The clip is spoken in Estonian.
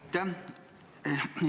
Aitäh!